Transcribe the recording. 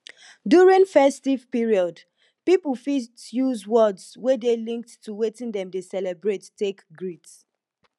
during festive period pipo fit use words wey dey linked to wetin dem dey celebrate take greet